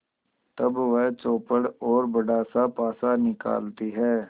तब वह चौपड़ और बड़ासा पासा निकालती है